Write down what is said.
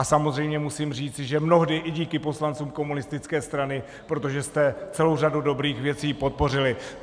A samozřejmě musím říci, že mnohdy i díky poslancům komunistické strany, protože jste celou řadu dobrých věcí podpořili.